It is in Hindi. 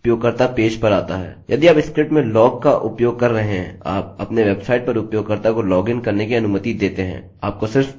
यदि आप स्क्रिप्ट में log का उपयोग कर रहे हैं और आप अपने वेबसाइट पर उपयोगकर्ता को login करने की अनुमति देते हैं आपको सिर्फ एक बार इसे लागू करना होगा और फिर कुकी संचित होती है